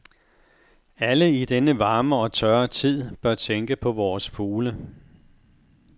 Alle i denne varme og tørre tid bør tænke på vores fugle.